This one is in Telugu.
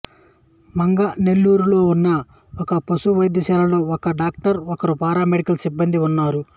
మంగనెల్లూరులో ఉన్న ఒక పశు వైద్యశాలలో ఒక డాక్టరు ఒకరు పారామెడికల్ సిబ్బందీ ఉన్నారు